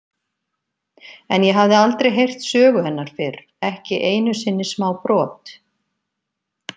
En ég hafði aldrei heyrt sögu hennar fyrr, ekki einu sinni smábrot.